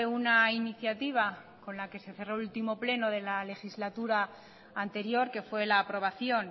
una iniciativa con la que se cerro el último pleno de la legislatura anterior que fue la aprobación